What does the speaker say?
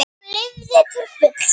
Hún lifði til fulls.